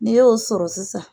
N'i y'o sɔrɔ sisan.